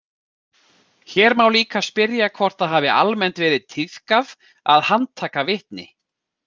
Hér má líka spyrja hvort það hafi almennt verið tíðkað að handtaka vitni.